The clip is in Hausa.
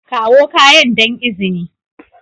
Kawo kayan don izini